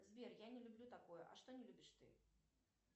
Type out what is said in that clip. сбер я не люблю такое а что не любишь ты